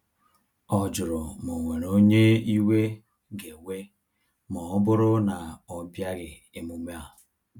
Ọ jụrụ ma o nwere onye iwe ga ewe ma ọ bụrụ na ọbịaghi emume a